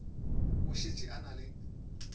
o šetše a na le